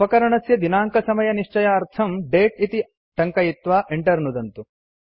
उपकरणस्य दिनाङ्कसमयनिश्चयार्थम् दते इति टङ्कयित्वा enter नुदन्तु